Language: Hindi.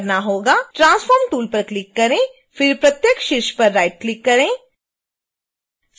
transform tool पर क्लिक करें फिर प्रत्येक शीर्ष पर राइटक्लिक करें